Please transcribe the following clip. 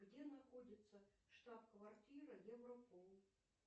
где находится штаб квартира европол